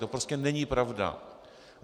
To prostě není pravda.